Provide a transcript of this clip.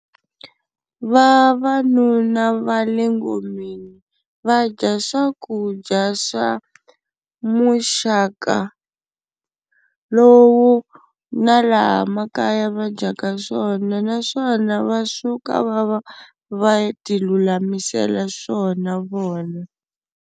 Vavanuna va le ngomeni va dya swakudya swa muxaka wo lowu na laha makaya va dyaka swona, naswona va suka va va va tilulamisela swona vona.